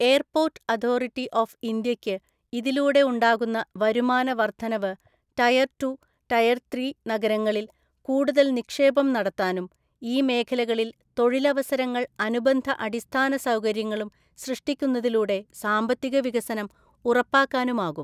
Airports authority ഓഫ്ഇന്ത്യയ്ക്ക് ഇതിലൂടെ ഉണ്ടാകുന്ന വരുമാന വര്‍ധനവ് ടയര്‍ ടു, ടയര്‍ ത്രീ നഗരങ്ങളില്‍ കൂടുതല്‍ നിക്ഷേപം നടത്താനും, ഈ മേഖലകളില്‍ തൊഴിലവസരങ്ങള്‍ അനുബന്ധ അടിസ്ഥാന സൗകര്യങ്ങളും സൃഷ്ടിക്കുന്നതിലൂടെ സാമ്പത്തിക വികസനം ഉറപ്പാക്കാനുമാകും.